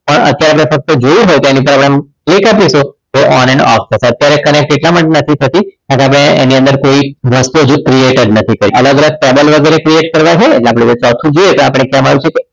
પણ અત્યારે થતું જોયું હોત તો એની ઉપર click આપીએ તો on and off થશે તો અત્યારે connect એટલા માટે નથી થતું કારણ કે આપણે એની અંદર કોઈ વસ્તુ હજુ કોઈ create જ નથી કરી અલગ અલગ page create કરવા હોય તો આપણે જોઈએ